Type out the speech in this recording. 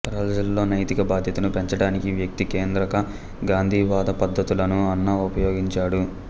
ప్రజలలో నైతిక బాధ్యతను పెంచడానికి వ్యక్తి కేంద్రక గాంధీవాద పద్ధతులను అన్నా ఉపయోగించాడు